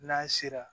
N'a sera